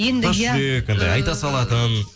енді иә тас жүрек айта салатын